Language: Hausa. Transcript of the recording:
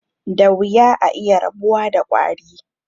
Da wuya a iya rabuwa da ƙwari.